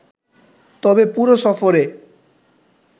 তবে পুরো সফরে